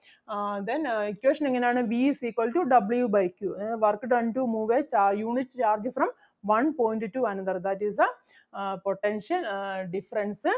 ആഹ് Then ah equation എങ്ങനാണ് V is equal to W by Q. അതായത് work done to move a ചാ~ unit charge from one point to another that is the ah potential ah difference ah